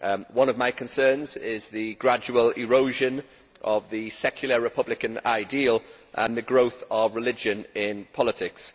One of my concerns is the gradual erosion of the secular republican ideal and the growth of religion in politics.